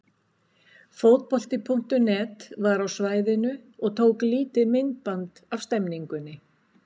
Fótbolti.net var á svæðinu og tók lítið myndband af stemningunni.